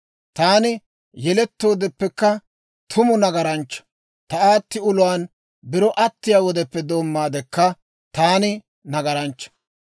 Taani yelettoodeppekka tumu nagaranchcha; ta aatti uluwaan biro attiyaa wodeppe doommaadekka, taani nagaranchcha.